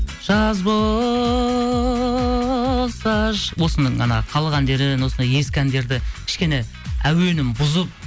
жаз болса осының анау халық әндерін осындай ескі әндерді кішкене әуенін бұзып